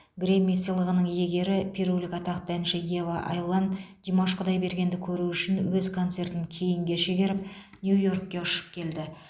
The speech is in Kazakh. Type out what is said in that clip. грэмми сыйлығының иегері перулік атақты әнші ева айлан димаш құдайбергенді көру үшін өз концертін кейінге шегеріп нью йоркке ұшып келді